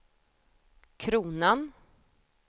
kronan